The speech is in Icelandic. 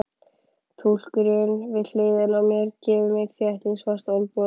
Túlkurinn við hliðina á mér gefur mér þéttingsfast olnbogaskot.